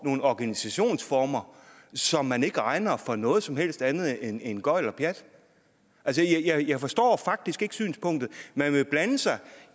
nogle organisationsformer som man ikke regner for noget som helst andet end end gøgl og pjat altså jeg forstår faktisk ikke synspunktet man vil blande sig